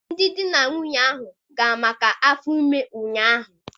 Ndị di na nwunye ahụ gara maka afọ ime ụnyahụ